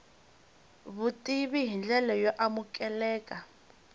vutivi hi ndlela yo amukeleka